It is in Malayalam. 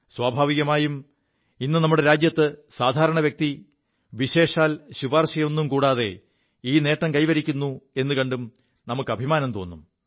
സ്വാഭാവികമായും ഇു നമ്മുടെ രാജ്യത്തെ സാധാരണ വ്യക്തി വിശേഷാൽ ശുപാർശയൊും കൂടാതെ ഈ നേം കൈവരിക്കുു എുകണ്ടും അഭിമാനം തോും